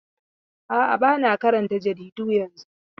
A'a, ba na karanta jaridu yanzu.